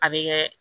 A bɛ kɛ